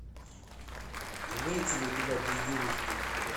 имеется ли у тебя безделушки